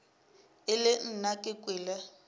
e le nna ke kwele